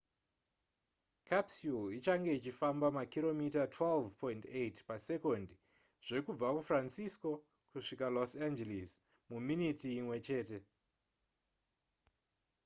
capsule ichange ichifamba makiromita 12.8 pasekondi zvekubva kufrancisco kusvika kulos angeles muminiti imwe chete